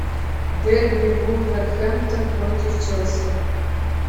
дерби вулверхэмптон против челси